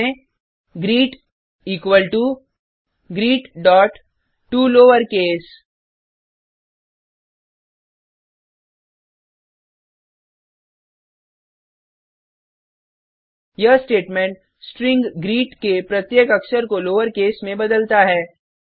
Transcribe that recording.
type करें greet equal to greettoLowerCase यह statement string greet के प्रत्येक अक्षर को लोअरकेस में बदलता है